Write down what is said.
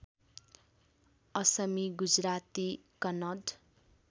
Asami Gujarati Kannada